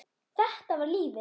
Þetta var lífið.